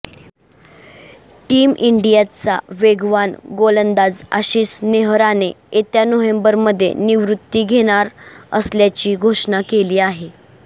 team इंडियाचा वेगवान गोलंदाजआशिष नेहराने येत्या नोव्हेंबरमध्ये निवृती घेणार असल्याची घोषणा केली आहे